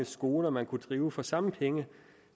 skoler man kunne drive for de samme penge